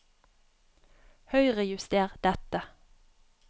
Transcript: Høyrejuster dette